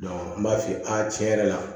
n b'a f'i ye a tiɲɛ yɛrɛ la